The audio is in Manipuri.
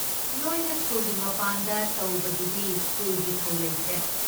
ꯅꯣꯏꯅ ꯁ꯭ꯀꯨꯜꯒꯤ ꯃꯄꯥꯟꯗ ꯇꯧꯕꯗꯨꯗꯤ ꯁ꯭ꯀꯨꯜꯒꯤ ꯊꯧ ꯂꯩꯇ꯭ꯔꯦ꯫